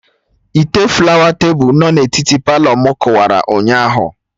Ite flawa tebụl no na etiti Palọ mụ kụwara ụnyaahụ